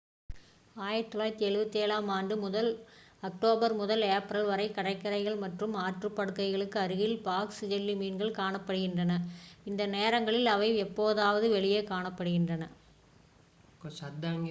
1770 ஆம் ஆண்டு அக்டோபர் முதல் ஏப்ரல் வரை கடற்கரைகள் மற்றும் ஆற்றுப் படுகைகளுக்கு அருகில் பாக்ஸ் ஜெல்லி மீன்கள் காணப்படுகின்றன இந்த நேரங்களில் அவை எப்போதாவது வெளியே காணப்படுகின்றன